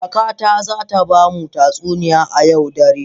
Kakata za ta ba mu tatsuniya a yau dare.